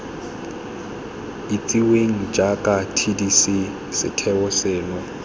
itsiweng jaaka tdc setheo seno